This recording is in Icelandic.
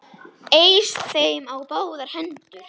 Eys þeim á báðar hendur!